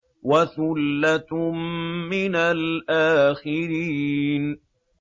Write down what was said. وَثُلَّةٌ مِّنَ الْآخِرِينَ